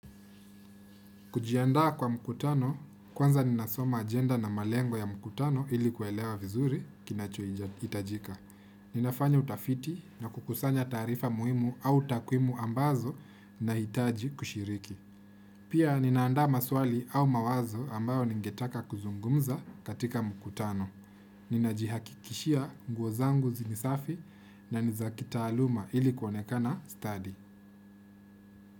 Kujiandaa kwa mkutano, kwanza ninasoma agenda na malengo ya mkutano ili kuelewa vizuri kinachohitajika. Ninafanya utafiti na kukusanya taarifa muhimu au takwimu ambazo nahitaji kushiriki. Pia ninaandaa maswali au mawazo ambayo ningetaka kuzungumza katika mkutano. Ninajihakikishia nguo zangu zi ni safi na nizakitaaluma ili kuonekana stadi.